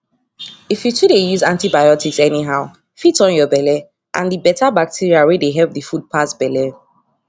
if you to dey use antibiotics anyhow fit turn your belle and the better bacteria wey dey help d food pass belle